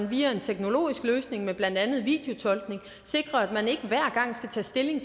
via en teknologisk løsning med blandt andet videotolkning sikre at man ikke hver gang skal tage stilling